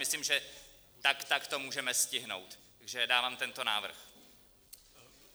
Myslím, že tak tak to můžeme stihnout, takže dávám tento návrh.